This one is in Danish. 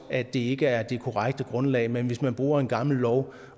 at det ikke er det korrekte grundlag men hvis man bruger en gammel lov